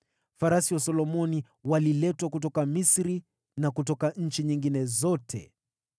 Farasi wa Solomoni waliletwa kutoka Misri na kutoka nchi nyingine zote.